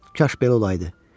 Kaş belə olaydı.